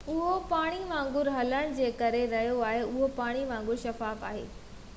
اهو پاڻي وانگر هلڻ جي ڪري رهيو آهي اهو پاڻي وانگر شفاف آهي